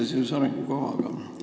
Küsimus seoses arengukavaga.